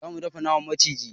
Za mu dafa naman maciji.